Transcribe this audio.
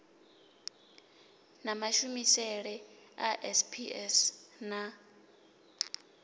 na mashumisele a sps na